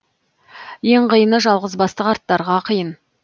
ең қиыны жалғызбасты қарттарға қиын